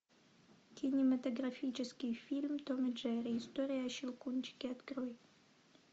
кинематографический фильм том и джерри история о щелкунчике открой